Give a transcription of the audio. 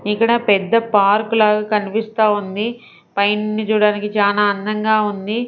ఇక్కడ పెద్ద పార్క్ లాగా కనిపిస్తా ఉంది పైన చూడడానికి చాలా అందంగా ఉంది.